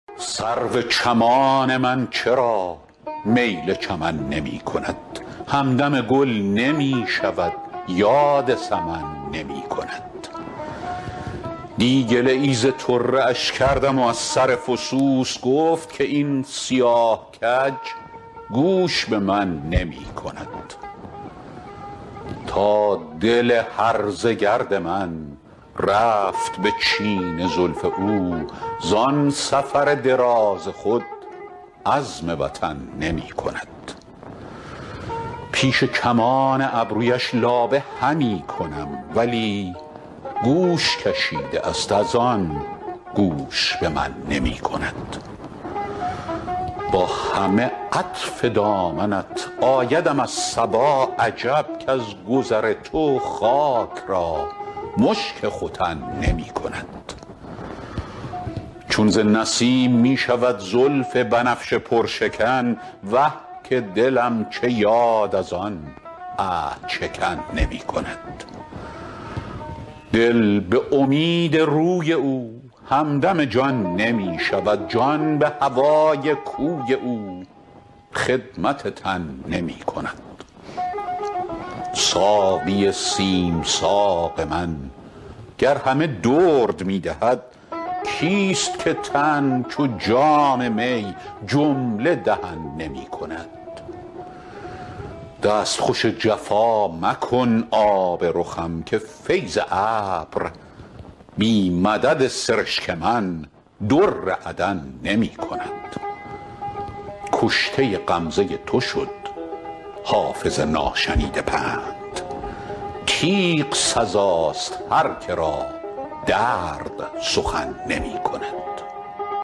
سرو چمان من چرا میل چمن نمی کند همدم گل نمی شود یاد سمن نمی کند دی گله ای ز طره اش کردم و از سر فسوس گفت که این سیاه کج گوش به من نمی کند تا دل هرزه گرد من رفت به چین زلف او زان سفر دراز خود عزم وطن نمی کند پیش کمان ابرویش لابه همی کنم ولی گوش کشیده است از آن گوش به من نمی کند با همه عطف دامنت آیدم از صبا عجب کز گذر تو خاک را مشک ختن نمی کند چون ز نسیم می شود زلف بنفشه پرشکن وه که دلم چه یاد از آن عهدشکن نمی کند دل به امید روی او همدم جان نمی شود جان به هوای کوی او خدمت تن نمی کند ساقی سیم ساق من گر همه درد می دهد کیست که تن چو جام می جمله دهن نمی کند دستخوش جفا مکن آب رخم که فیض ابر بی مدد سرشک من در عدن نمی کند کشته غمزه تو شد حافظ ناشنیده پند تیغ سزاست هر که را درد سخن نمی کند